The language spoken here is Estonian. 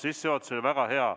Sissejuhatus oli väga hea.